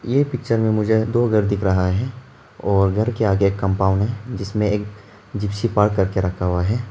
ये पिक्चर में मुझे दो घर दिख रहा है और घर के आगे कंपाउंड है जिसमें एक जिप्सी पार्क करके रखा हुआ है।